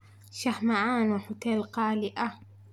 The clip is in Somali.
shah macan waa huteel qaali ah